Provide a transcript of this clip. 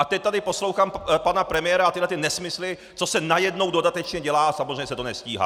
A teď tady poslouchám pana premiéra a tyhle nesmysly, co se najednou dodatečně dělá, a samozřejmě se to nestíhá.